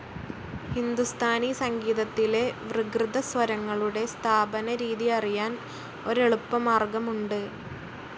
ഹിന്ദുസ്ഥാനി സംഗീതത്തിലെ വികൃതസ്വരങ്ങളുടെ സ്ഥാപനരീതി അറിയാൻ ഒരെളുപ്പമാർഗ്ഗമുണ്ട്.